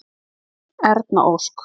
Erna Ósk.